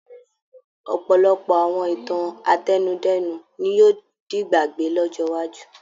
Ọ̀pọ̀lọpọ̀ àwọn ìtàn àtẹnudẹ́nu ní yóò di'gbàgbé lọ́jọ́ iwájú.